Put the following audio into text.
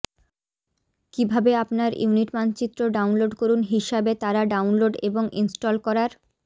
কিভাবে আপনার ইউনিট মানচিত্র ডাউনলোড করুন হিসাবে তারা ডাউনলোড এবং ইনস্টল করার